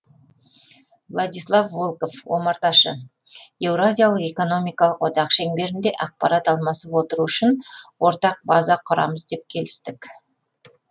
владислав волков омарташы еуразиялық экономикалық одақ шеңберінде ақпарат алмасып отыру үшін ортақ база құрамыз деп келістік